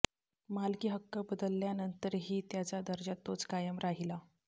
मालकी हक्क बदलल्यानंतरही त्याचा दर्जा तोच कायम राहिला